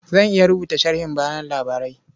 Zan iya rubuta sharhin bayan labarai.